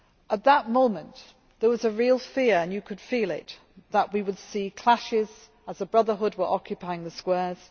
At that moment there was a real fear, and you could feel it, that we would see clashes as the Brotherhood were occupying the squares.